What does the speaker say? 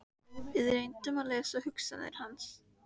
Við reyndum að lesa hugsanir hans.